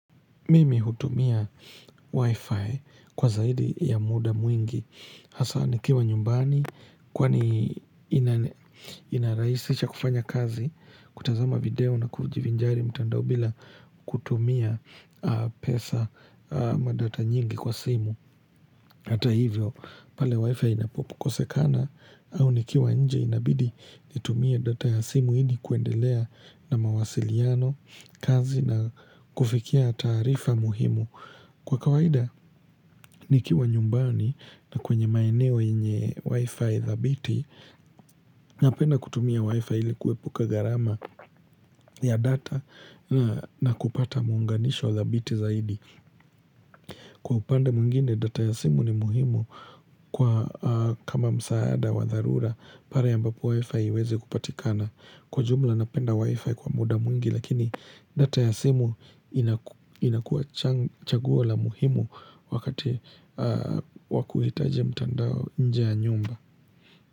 Mimi hutumia wifi kwa zaidi ya muda mwingi hasa nikiwa nyumbani kwani inaraisisha kufanya kazi kutazama video na kujivinjari mtandao bila kutumia pesa ama data nyingi kwa simu Hata hivyo, pale wifi inapokosekana au nikiwa nje inabidi nitumie data ya simu ini kuendelea na mawasiliano, kazi na kufikia taarifa muhimu. Kwa kawaida, nikiwa nyumbani na kwenye maeneo yenye wifi dhabiti, napenda kutumia wifi ili kuepuka gharama ya data na kupata muunganisho dhabiti zaidi. Kwa upande mwengine data ya simu ni muhimu kwa kama msaada wa dharura pale ambapo wifi haiwezi kupatikana. Kwa jumla napenda wifi kwa muda mwingi lakini data ya simu inakua chaguo la muhimu wakati wa kuhitaji mtandao nje ya nyumba.